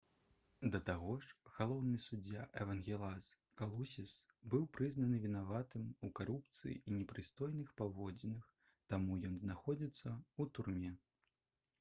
да таго ж галоўны суддзя эвангелас калусіс быў прызнаны вінаватым у карупцыі і непрыстойных паводзінах таму ён знаходзіцца ў турме